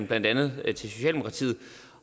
blandt andet socialdemokratiet